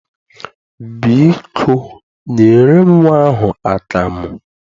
Biko, nyere m nnwa ahụ akamụ.